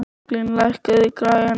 Berglín, lækkaðu í græjunum.